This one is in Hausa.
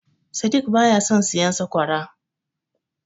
Sadik baya son siyan sakwara.